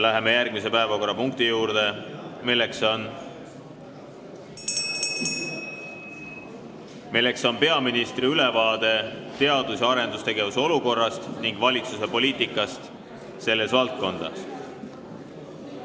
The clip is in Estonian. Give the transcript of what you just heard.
Läheme järgmise päevakorrapunkti juurde, milleks on peaministri ülevaade teadus- ja arendustegevuse olukorrast ning valitsuse poliitikast selles valdkonnas.